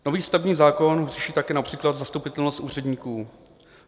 Nový stavební zákon řeší taky například zastupitelnost úředníků.